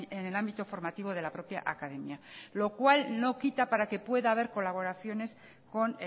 en el ámbito formativo de la propia academia lo cual no quita para que pueda haber colaboraciones con